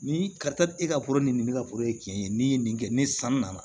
Ni ka taa e ka foro ni nin ne ka foro ye cɛn ye n'i ye nin kɛ ni san nana